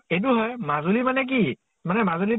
এইটো হয় মাজুলি মানে কি ? মানে মাজুলিতো